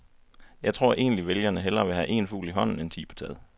Jeg tror egentlig, vælgerne hellere vil have en fugl i hånden end ti på taget.